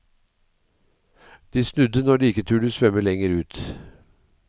De snudde når de ikke turde svømme lenger ut.